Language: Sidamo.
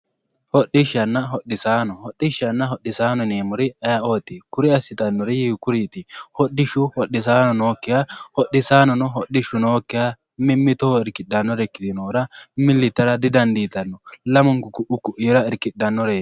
Hodhishanna hodhisano yineemmori ayeeoti kuri assittanori hiikkuriti hodhishu hodhisano noyikkiha hodhisaanono hodhishu noyikkiha mimmittoho irkidhanore ikkitinohura milli yittara didandiittano lamunku ku"u koira irkidhanoreti.